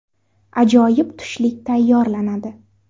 Ajoyib tushlik tayyorlanadi.